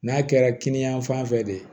N'a kɛra kini yan fan fɛ de